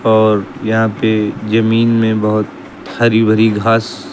और यहां पे जमीन में बहोत भारी भारी घास--